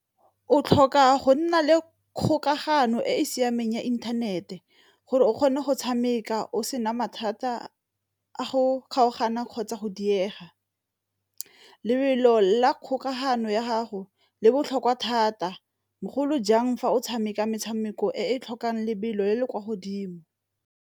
O tlhoka go nna le kgokagano e e siameng ya inthanete, gore o kgone go tshameka o sena mathata a go kgaogana kgotsa go diega. Lebelo la kgokagano ya gago le botlhokwa thata bogolo jang fa o tshameka metshameko e e tlhokang lebelo le le kwa godimo.